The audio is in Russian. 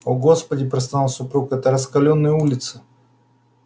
о господи простонал супруг эти раскалённые улицы